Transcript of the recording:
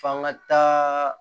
F'an ga taa